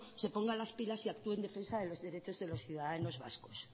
se pongan las pilas y actúe en defensa de los derechos de los ciudadanos vascos